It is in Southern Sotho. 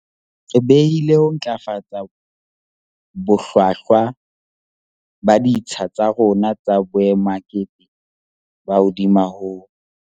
Re behile ho ntlafatsa bohlwahlwa ba ditsha tsa rona tsa boemakepe ka hodimo ho